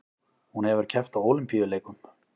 Hún hefur keppt á Ólympíuleikum